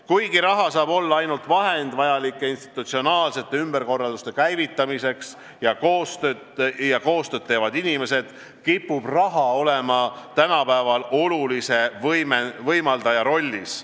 Kuigi raha saab olla ainult vahend institutsionaalsete ümberkorralduste käivitamiseks ja koostööd teevad inimesed, kipub raha olema tänapäeval olulise võimaldaja rollis.